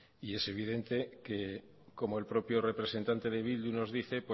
y es evidente que como el propio representante de bildu nos dice